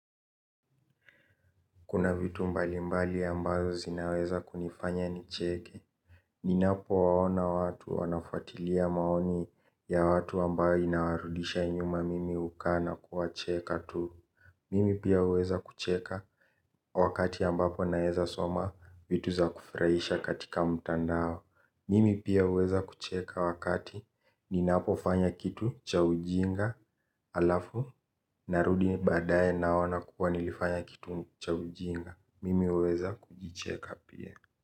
Kuna vitu mbali mbali ambazo zinaweza kunifanya nicheke ninapowaona watu wanafuatilia maoni ya watu ambayo inawarudisha nyuma mimi hukaa na kuwacheka tu. Mimi pia huweza kucheka wakati ambapo naeza soma vitu za kufurahisha katika mtandao. Mimi pia huweza kucheka wakati ninapofanya kitu cha ujinga alafu narudi baadaye naona kuwa nilifanya kitu cha ujinga. Mimi huweza kujicheka pia.